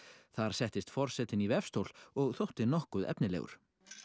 þar settist forsetinn í vefstól og þótti nokkuð efnilegur